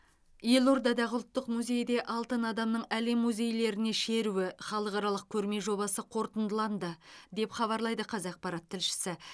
елордадағы ұлттық музейде алтын адамның әлем музейлеріне шеруі халықаралық көрме жобасы қорытындыланды деп хабарлайды қазақпарат тілшісі